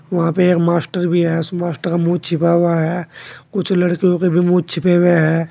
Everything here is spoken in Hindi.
वहां पे एक मास्टर भी है उस मास्टर का मुंह छिपा हुआ है कुछ लड़कियों के भी मुंह छिपे हुए है।